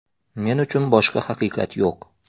Men uchun boshqa haqiqat yo‘q”.